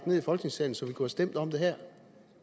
ned i folketingssalen så vi kunne have stemt om det her